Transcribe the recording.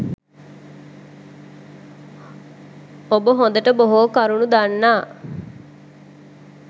ඔබ හොදට බොහෝ කරුණු දන්නා